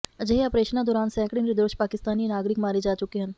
ਅਜਿਹੇ ਅਪਰੇਸ਼ਨਾਂ ਦੌਰਾਨ ਸੈਂਕੜੇ ਨਿਰਦੋਸ਼ ਪਾਕਿਸਤਾਨੀ ਨਾਗਰਿਕ ਮਾਰੇ ਜਾ ਚੁੱਕੇ ਹਨ